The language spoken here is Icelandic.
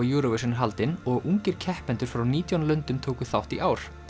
Eurovision er haldin og ungir keppendur frá nítján löndum tóku þátt í ár